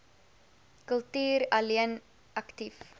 kultuur alleen aktief